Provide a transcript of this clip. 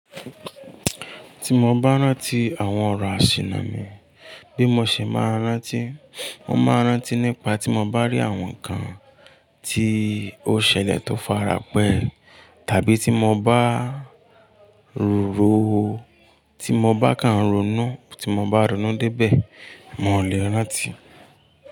Ti mo ba rántí àwọn ọ̀rọ̀ àsìnà mi, bí mo ṣe máa rántí, mo máa rántí nípa tí mo bá rí àwọn nǹkan tí ó ṣẹlẹ̀ tó farapẹ́ tàbí tí mo bá ro oo, tí mo bá kan rònú, tí mo bá rònú dé ibẹ̀, mo lè rántí.